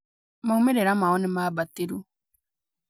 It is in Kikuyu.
Maumĩrĩra mao nĩ maambatĩru